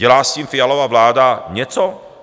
Dělá s tím Fialova vláda něco?